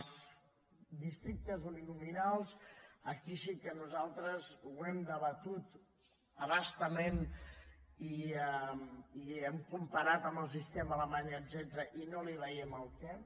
els districtes uninominals aquí sí que nosaltres ho hem debatut a bastament i ho hem comparat amb el sistema alemany etcètera i no li veiem el què